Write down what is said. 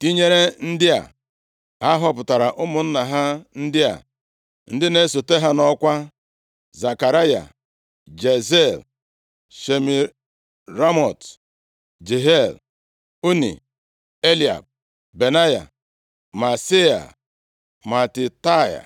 tinyere ndị a, ha họpụtara ụmụnna ha ndị a, ndị na-esote ha nʼọkwa: Zekaraya, Jaaziel, Shemiramot, Jehiel, Unni, Eliab, Benaya, Maaseia, Matitaia,